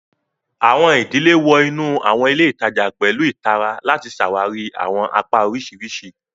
Awọn idile wọ inu awọn ile itaja pẹlu ìtara lati ṣawari awọn apá oriṣiriṣi.